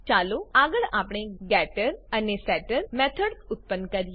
ચાલો આગળ આપણે ગેટર એન્ડ સેટર મેથડ્સ ઉત્પન્ન કરીએ